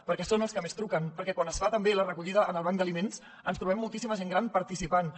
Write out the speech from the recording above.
perquè són els que més truquen perquè quan es fa també la recollida en el banc dels aliments ens trobem moltíssima gent gran participant hi